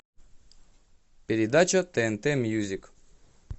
передача тнт мюзик